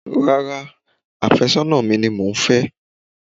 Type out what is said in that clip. Rárá, afẹ́sọ́nà mi ni màá fẹ́